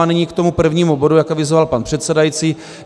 A nyní k tomu prvnímu bodu, jak avizoval pan předsedající.